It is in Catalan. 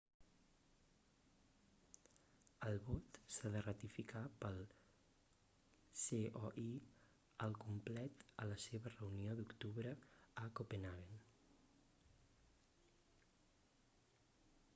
el vot s'ha de ratificar pel coi al complet a la seva reunió d'octubre a copenhagen